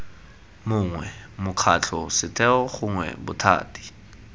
mongwe mokgatlho setheo gongwe bothati